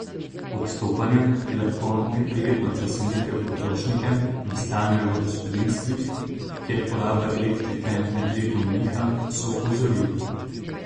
Odstopanja, ki lahko neprijetno presenetijo potrošnike, nastanejo v gospodinjstvih, kjer poraba elektrike med letom niha, so opozorili.